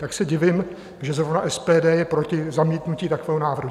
Tak se divím, že zrovna SPD je proti zamítnutí takového návrhu.